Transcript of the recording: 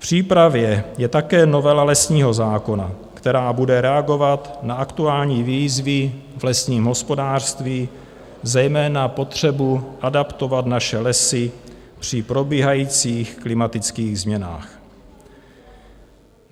V přípravě je také novela lesního zákona, která bude reagovat na aktuální výzvy v lesním hospodářství, zejména potřebu adaptovat naše lesy při probíhajících klimatických změnách.